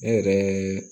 Ne yɛrɛ